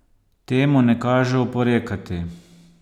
Temu ne kaže oporekati.